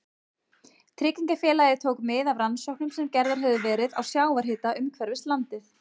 Tryggingafélagið tók mið af rannsóknum sem gerðar höfðu verið á sjávarhita umhverfis landið.